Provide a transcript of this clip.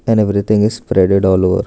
And everything is spreaded all over.